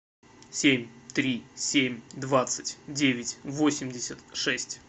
семь три семь двадцать девять восемьдесят шесть